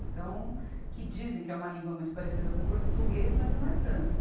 Então, que dizem que é uma língua muito parecida com português, mas não é tanto.